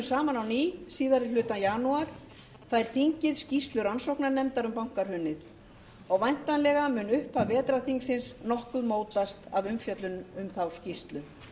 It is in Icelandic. saman á ný síðari hluta janúar fær þingið skýrslu rannsóknarnefndar um bankahrunið og væntanlega mun upphaf vetrarþingsins nokkuð mótast af umfjöllun um þá skýrslu